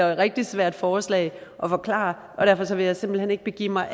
rigtigt svært forslag at forklare og derfor vil jeg simpelt hen ikke begive mig